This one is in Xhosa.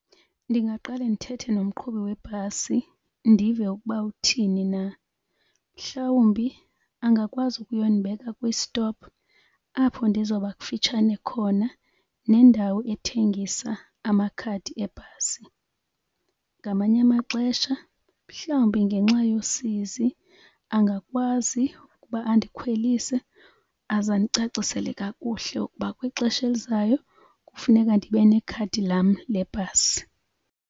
Ndingaqale ndithethe nomqhubi webhasi ndive ukuba uthini na. Mhlawumbi angakwazi ukuyondibeka kwisitopu apho ndizoba kufutshane khona nendawo ethengisa amakhadi ebhasi. Ngamanye amaxesha mhlawumbi ngenxa yosizi angakwazi ukuba andikhwelise aze andicacisele kakuhle ukuba kwixesha elizayo kufuneka ndibe nekhadi lam lebhasi.